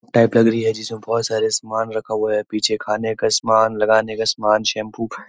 टैपलर भी हैजिसमे बहुत सारा समान रखा हुआ है पीछे खाने का समान लगाने का समान शैम्पू --